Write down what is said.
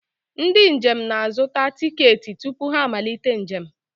Ndị njem na-azụta tiketi tupu ha amalite njem.